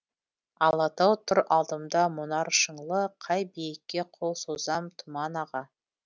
алатау тұр алдымда мұнар шыңлы қай биікке қол созам тұман аға